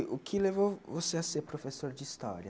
O que levou você a ser professor de história?